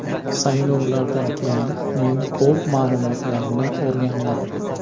Saylovlardan keyin men ko‘p ma’lumotlarni o‘rgandim.